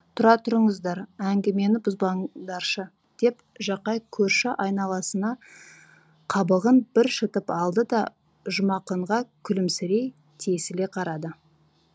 тұра тұрыңыздар әңгімені бұзбаңдаршы деп жақай көрші айналасына қабағын бір шытып алды да жұмақынға күлімсірей тесіле қарады